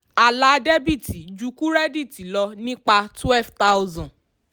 àlà dẹ́bìtì ju kírẹ́díìtì lọ nípa 12000.